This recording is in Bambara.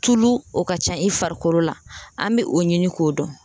Tulu o ka ca i farikolo la an bɛ o ɲini k'o dɔn